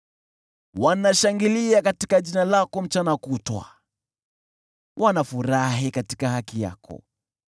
Wanashangilia katika jina lako mchana kutwa, wanafurahi katika haki yako.